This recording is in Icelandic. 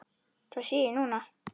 Það sé ég núna.